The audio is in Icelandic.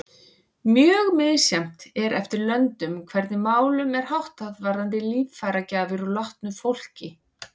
Mjög misjafnt er eftir löndum hvernig málum er háttað varðandi líffæragjafir úr látnu fólki.